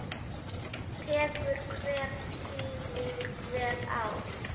Tekur hver sýning vel á?